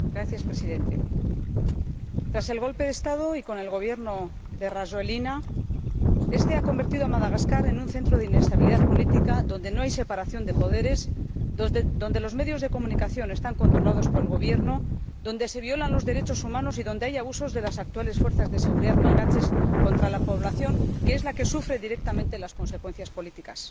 Señor Presidente, tras el golpe de Estado, el Gobierno de Rajoelina ha convertido Madagascar en un centro de inestabilidad política, donde no hay separación de poderes, donde los medios de comunicación están controlados por el Gobierno, donde se violan los derechos humanos y donde hay abusos de las actuales fuerzas de seguridad malgaches contra la población, que es la que sufre directamente las consecuencias políticas.